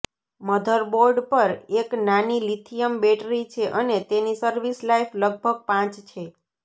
motherboard પર એક નાની લિથિયમ બેટરી છે અને તેની સર્વિસ લાઇફ લગભગ પાંચ છે